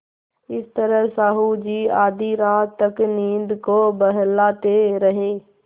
इस तरह साहु जी आधी रात तक नींद को बहलाते रहे